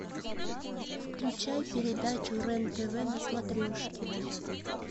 включай передачу рен тв на смотрешке